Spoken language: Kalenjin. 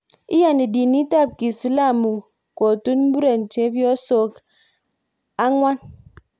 Iyani dinit ab kiislamu Kotun muren chebyosok angwan